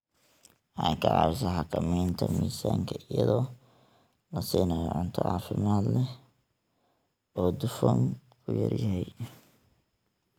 Waxay ka caawisaa xakamaynta miisaanka iyadoo la siinayo cunto caafimaad leh oo dufanku ku yar yahay.